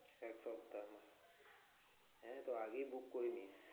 এক সপ্তাহ? হ্যাঁ তো আগেই book করে নিস্।